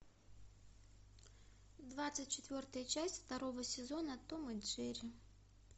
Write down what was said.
двадцать четвертая часть второго сезона том и джерри